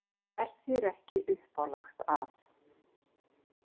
Er þér ekki uppálagt af